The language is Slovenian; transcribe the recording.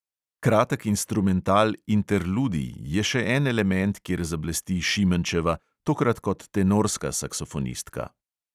Kratek instrumental interludij je še en element, kjer zablesti šimenčeva, tokrat kot tenorska saksofonistka.